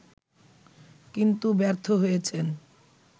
কিন্তু ব্যর্থ হয়েছেন